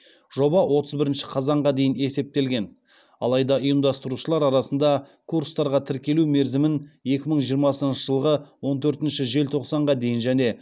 жоба отыз бірінші қазанға дейін есептелген алайда ұйымдастырушылар арасында курстарға тіркелу мерзімін екі мың жиырмасыншы жылғы он төртінші желтоқсанға дейін және